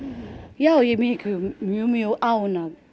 já ég er mjög mjög ánægð